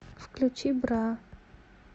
включи бра